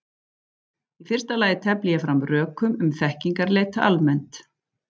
Í fyrsta lagi tefli ég fram rökum um þekkingarleit almennt.